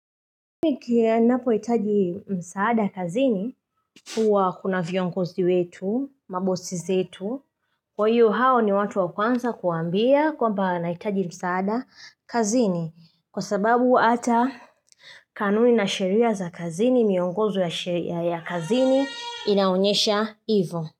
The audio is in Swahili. Niki napoitaji msaada kazini huwa kuna viongozi wetu, mabosi zetu, kwa hiyo hao ni watu wa kwanza kuambia kuwaambia naitaji msaada kazini kwa sababu hata kanuni na sheria za kazini, miongozi ya kazini inaonyesha hivyo.